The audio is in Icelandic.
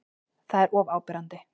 Það er of áberandi.